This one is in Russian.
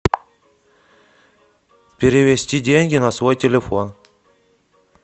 перевести деньги на свой телефон